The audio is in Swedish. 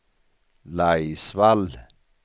Laisvall